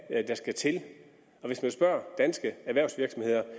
er det der skal til og hvis man spørger danske erhvervsvirksomheder